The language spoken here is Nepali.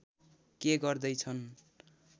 के गर्दै छन्